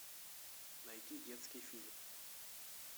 найти детский фильм